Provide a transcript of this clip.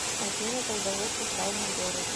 афина когда вышел тайный город